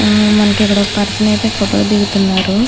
ఆ మనకి ఇక్కడ ఒక పర్సన్ అయితే ఫోటో దిగుతున్నారు.